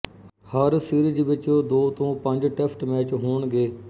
ਹਰ series ਵਿੱਚ ਦੋ ਤੋਂ ਪੰਜ ਟੈਸਟ ਮੈਚ ਹੋਣਗੇ